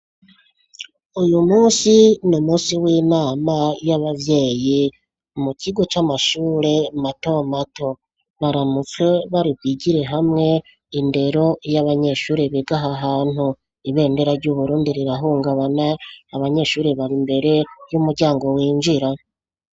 Uyu musi ni umusi w'inama y'abavyeye umukigo c'amashure matomato baramutswe baribigire hamwe indero y'abanyeshuri begaha ahantu ibendera ry'uburundi rirahungabana abanyeshuri bari imbere y'umuryango winjira.